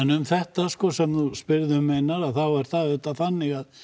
um þetta sem þú spyrð um Einar þá er það auðvitað þannig að